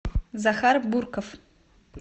захар бурков